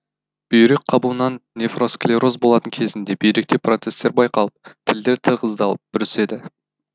бүйрек қабуынан нефросклероз болатын кезінде бүйректе процестер байқалып тілдер тығыздалып бүріседі